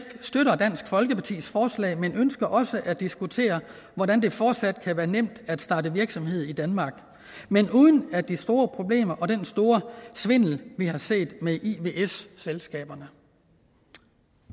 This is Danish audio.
støtter dansk folkepartis forslag men ønsker også at diskutere hvordan det fortsat kan være nemt at starte virksomhed i danmark men uden de store problemer og den store svindel vi har set med ivs selskaberne